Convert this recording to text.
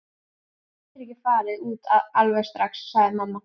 Þú getur ekki farið út alveg strax, sagði mamma.